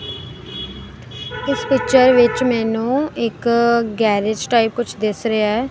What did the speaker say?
ਇਸ ਪਿਕਚਰ ਵਿਚ ਮੈਨੂੰ ਇੱਕ ਗੈਰੇਜ ਟਾਈਪ ਕੁਛ ਦਿਸ ਰਿਹਾ ਹੈ।